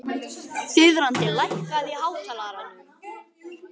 Þiðrandi, lækkaðu í hátalaranum.